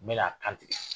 N bɛ a kan ten